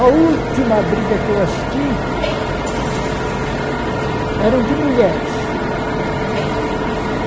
A última briga que eu assisti era de mulheres.